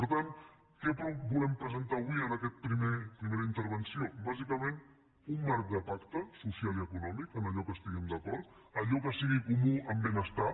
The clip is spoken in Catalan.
per tant què volem presentar avui en aquesta primera intervenció bàsicament un marc de pacte social i econòmic en allò que estiguem d’acord allò que sigui comú en benestar